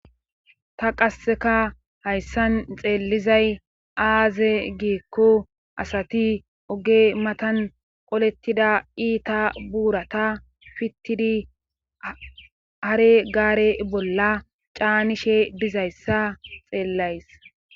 Ta qasseka hayssan xeellizay aaze giikko asati oge matan qolettida iita buurata fittidi hare gaare bolla caanishe dizayssa xeellays.